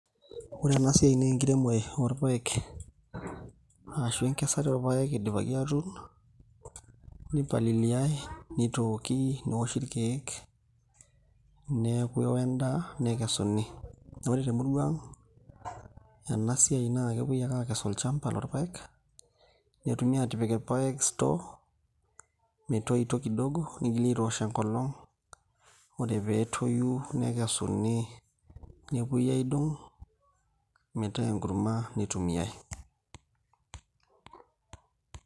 Ore ena siai naa enkiremore orpaek arashu enkesare orpaek idipaki atuun nipaliliai nitooki newoshi irkeek neeku eeo endaa nekesuni, naa ore temuria ang' ena siai naa kepuoi ake aakes olchamba lorpaek netumi aatipik irpaek store metoito kidogo nigili aitoosh enkolong' ore pee etoyu nekesuni nepuoi aidong' metaa enkurma nitumiai.